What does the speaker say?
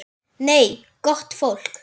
Nei, gott fólk.